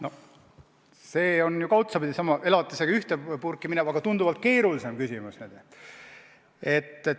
No see on otsapidi sama, elatisega ühte purki minev, aga tunduvalt keerulisem küsimus.